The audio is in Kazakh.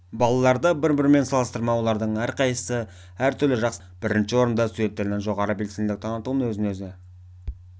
балаларды бір-бірімен салыстырма олардың әрқайсысы әртүрлі жақсы делінген мұнда бірінші орында студенттердің жоғары белсенділік танытуы өзін-өзі